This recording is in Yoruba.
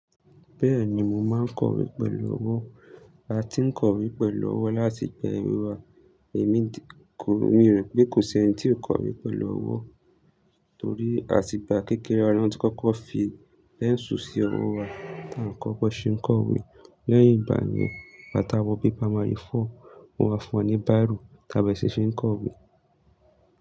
Bẹ́ẹ̀ni mo máa kọ̀wé pẹ̀lú ọwọ́. A ti ń kọ̀wé pẹ̀lú ọwọ́ láti ìgbà èwe wa. Èmi kò, mo rò pé kò sí ẹni tí ò kọ̀wé pẹ̀lú ọwọ́, torí àti ìgbà kékeré alárùn tí kọ́kọ́ fi pẹ́ńsù sí ọwọ́ wa tí a ń kọ́kọ́ ṣe ń kọ̀wé. Lẹ́yìn ìgbà yẹn, bàtà wọ bíba máa rí fọ́, mo máa fọn ní baro, tàbí èsì ṣe ń kọ̀wé.